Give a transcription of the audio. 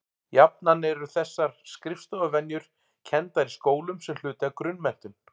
jafnan eru þessar skriftarvenjur kenndar í skólum sem hluti af grunnmenntun